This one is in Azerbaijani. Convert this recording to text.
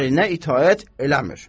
Ərinə itaət eləmir.